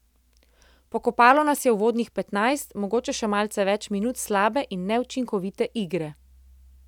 Pokopalo nas je uvodnih petnajst, mogoče še malce več minut slabe in neučinkovite igre.